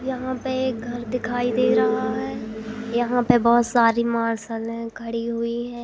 यहां पे एक घर दिखाई दे रहा है यहां पे बहुत सारी मार्शले खड़ी हुई है।